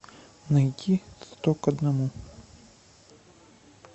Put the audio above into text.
найти сто к одному